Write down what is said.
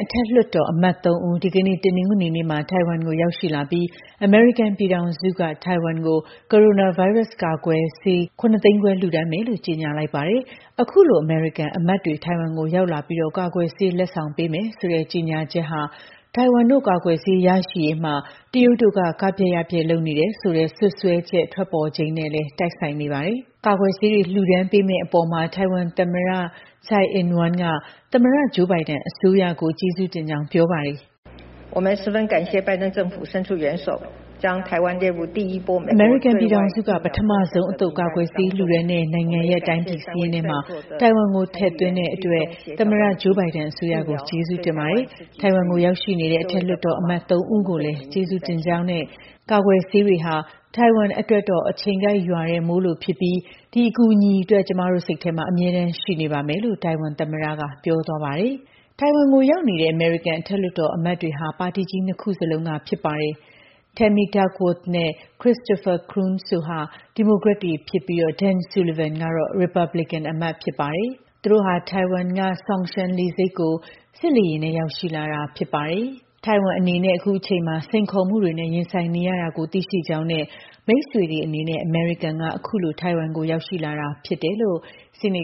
အထက်လွှတ်တော်အမတ် ၃ ဦး ဒီကနေ့ တနင်္ဂနွေနေ့မှာ ထိုင်ဝမ်ကို ရောက်ရှိလာပြီး အမေရိကန်ပြည်ထောင်စုက ထိုင်ဝမ်ကို ကိုရိုနာဗိုင်းရပ်စ် ကာကွယ်ထိုးဆေး ၇ သိန်းခွဲကို လှူဒါန်းမယ်လို့ ကြေညာလိုက်ပါတယ်။ အခုလို အမေရိကန်အမတ်တွေ ထိုင်ဝမ်ကို ရောက်ရှိလာပြီး ကာကွယ်ဆေး လက်ဆောင်ပေးမယ်ဆိုတဲ့ ကြေညာချက်က ထိုင်ဝမ်တို့ ကာကွယ်ဆေး ရရှိရေးမှာ တရုတ်တို့က ကဖျက်ယဖျက် လုပ်နေတယ်ဆိုတဲ့ စွပ်စွဲချက် ထွက်ပေါ်နေချိန်နဲ့လည်း တိုက်ဆိုင်နေတာပါ။ ကာကွယ်ဆေးတွေ လှူဒါန်းပေးမယ့်အပေါ် ထိုင်ဝမ်သမ္မတ Tsai Ing-Wen က သမ္မတ Joe Biden အစိုးရကို ကျေးဇူးတင်ကြောင်း ပြောပါတယ်။ “အမေရိကန်ပြည်ထောင်စုက ပထမဆုံးအသုတ် ကာကွယ်ဆေးလှူဒါန်းတဲ့ နိုင်ငံရပ် တိုင်းပြည်စာရင်းထဲ ထိုင်ဝမ်ကို ထည့်သွင်းတဲ့အတွက် သမ္မတ Joe Biden အစိုးရကို ကျေးဇူးတင်ပါတယ်။ ထိုင်ဝမ်ကို ရောက်ရှိနေတဲ့ အထက်လွှတ်တော်အမတ် ၃ ယောက်ကိုလည်း ကျေးဇူးတင်ပါတယ်။ ကာကွယ်ဆေးတွေဟာ ထိုင်ဝမ်အတွက်တော့ အချိန်ကိုက်ရွာတဲ့မိုးလိုပါပဲ။ ဒီအကူအညီအတွက် ကျမတို့ စိတ်ထဲ အမြဲရှိနေမှာပါ။” လို့ ထိုင်ဝမ်သမ္မတက ပြောပါတယ်။ ထိုင်ဝမ်ကိုရောက်နေတဲ့ အမေရိကန် အထက်လွှတ်တော်အမတ်တွေက ပါတီကြီး နှစ်ခုစလုံးက ဖြစ်ပါတယ်။ Tammy Duckworth နဲ့ Christopher Coons က ဒီမိုကရက်တွေဖြစ်ပြီးတော့ Dan Sullivan က ရီပတ်ဘလစ်ကန် ဖြစ်ပါတယ်။ ထိုင်ဝမ်အနေနဲ့ အခုအချိန်မှာ စိန်ခေါ်မှုတွေနဲ့ ရင်ဆိုင်နေရတာကို သိရှိကြောင်းနဲ့ မိတ်ဆွေတွေအနေနဲ့ အမေရိကန်က အခုလို ထိုင်ဝမ်ကို ရောက်ရှိနေတာ ဖြစ်ပါတယ်လို့ ဆီန